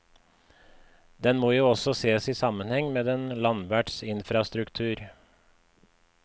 Den må jo også sees i sammenheng med den landverts infrastruktur.